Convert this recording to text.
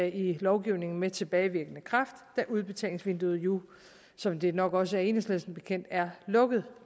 i lovgivningen med tilbagevirkende kraft da udbetalingsvinduet jo som det nok også er enhedslisten bekendt er lukket